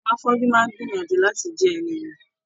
Àwọn afọju máa n gbìyànjú láti jẹ ẹni ìmọ.